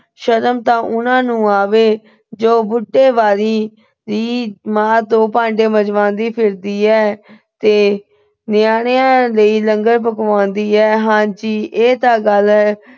ਸ਼ਰਮ ਤਾਂ ਉਹਨਾਂ ਨੂੰ ਆਵੇ ਜੋ ਬੁੱਢੇ ਬਾਰੀ ਮਾਂ ਤੋਂ ਭਾਂਡੇ ਮੰਜਵਾਉਂਦੀ ਫਿਰਦੀ ਹੈ ਤੇ ਨਿਆਨਿਆਂ ਲਈ ਲੰਗਰ ਪਕਵਾਉਂਦੀ ਏ। ਹਾਂਜੀ, ਇਹ ਤਾਂ ਗੱਲ ਏ।